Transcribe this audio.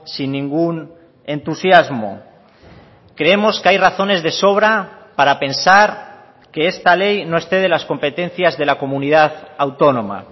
sin ningún entusiasmo creemos que hay razones de sobra para pensar que esta ley no excede las competencias de la comunidad autónoma